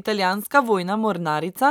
Italijanska vojna mornarica